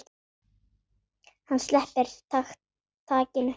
Hann sleppir takinu.